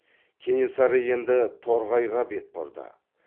кенесары енді торғайға бет бұрды